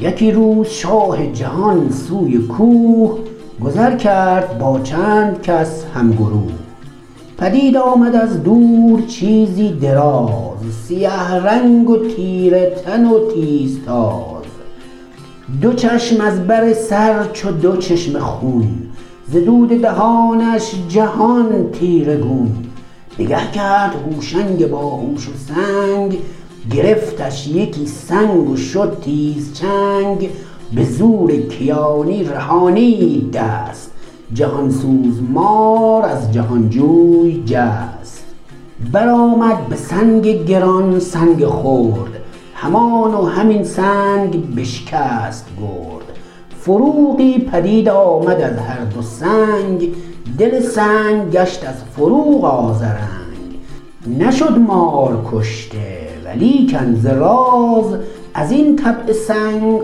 یکی روز شاه جهان سوی کوه گذر کرد با چند کس هم گروه پدید آمد از دور چیزی دراز سیه رنگ و تیره تن و تیز تاز دو چشم از بر سر چو دو چشمه خون ز دود دهانش جهان تیره گون نگه کرد هوشنگ باهوش و سنگ گرفتش یکی سنگ و شد تیز چنگ به زور کیانی رهانید دست جهان سوز مار از جهان جوی جست بر آمد به سنگ گران سنگ خرد همان و همین سنگ بشکست گرد فروغی پدید آمد از هر دو سنگ دل سنگ گشت از فروغ آذرنگ نشد مار کشته ولیکن ز راز از این طبع سنگ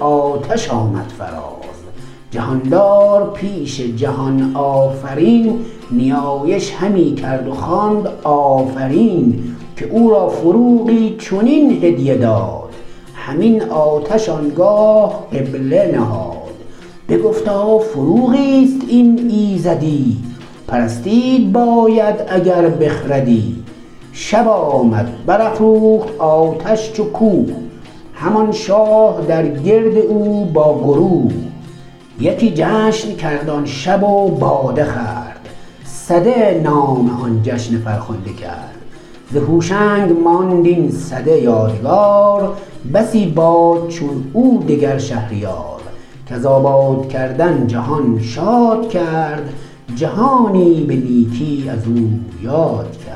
آتش آمد فراز جهاندار پیش جهان آفرین نیایش همی کرد و خواند آفرین که او را فروغی چنین هدیه داد همین آتش آنگاه قبله نهاد بگفتا فروغی است این ایزدی پرستید باید اگر بخردی شب آمد بر افروخت آتش چو کوه همان شاه در گرد او با گروه یکی جشن کرد آن شب و باده خورد سده نام آن جشن فرخنده کرد ز هوشنگ ماند این سده یادگار بسی باد چون او دگر شهریار کز آباد کردن جهان شاد کرد جهانی به نیکی از او یاد کرد